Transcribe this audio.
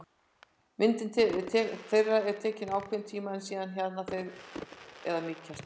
Myndun þeirra tekur ákveðinn tíma en síðan hjaðna þeir eða mýkjast.